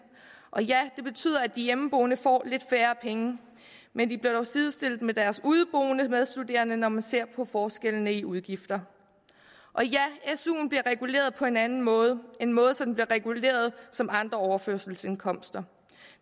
og ja det betyder at de hjemmeboende får lidt færre penge men de bliver dog sidestillet med deres udeboende medstuderende når man ser på forskellen i udgifter og ja suen bliver reguleret på en anden måde måde så den bliver reguleret som andre overførselsindkomster